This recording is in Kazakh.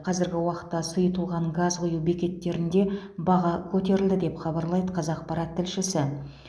қазіргі уақытта сұйытылған газ құю бекеттерінде баға көтерілді деп хабарлайды қазақпарат тілшісі